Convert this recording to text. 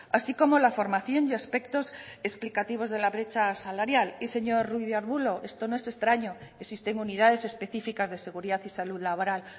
así como la formación y aspectos explicativos de la brecha salarial y señor ruiz de arbulo esto no es extraño existen unidades específicas de seguridad y salud laboral